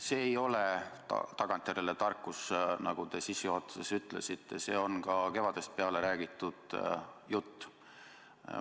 See ei ole tagantjärele tarkus, nagu te sissejuhatuses ütlesite, see on kevadest peale räägitud jutt.